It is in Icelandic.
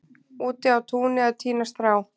úti á túni að tína strá